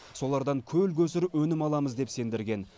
солардан көл көсір өнім аламыз деп сендірген